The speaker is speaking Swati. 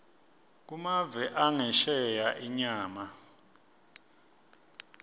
kumave angesheya inyama